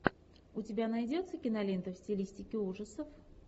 у тебя найдется кинолента в стилистике ужасов